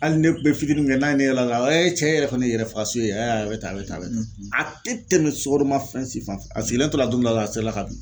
Hali ne bɛ fitinin min kɛ n'a ye ne y'o la cɛ yɛrɛ kɔni yɛrɛ faga su ye a bɛ ta a bɛ ta a bɛ a te tɛmɛ sukoromafɛn si fan f a sigilen tora don dɔ min na dɔrɔn a serila ka bin.